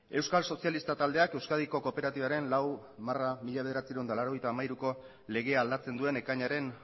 eusko sozialista taldeak euskadi kooperatibaren lau barra mila bederatziehun eta laurogeita hamairuko legea aldatzen duen ekainaren